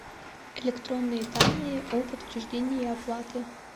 электронные данные о подтверждении оплаты